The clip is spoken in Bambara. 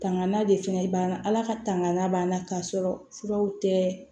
Tangan de fɛngɛ b'an na ala ka tangan b'an na k'a sɔrɔ furaw tɛ